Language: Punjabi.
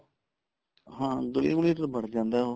ਹਾਂ ਗਲੀਆਂ ਗੁਲੀਆਂ ਚ ਤਾਂ ਬੜ ਜਾਂਦਾ ਉਹ